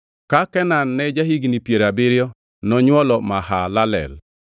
Ka Kenan ne ja-higni piero abiriyo nonywolo Mahalalel.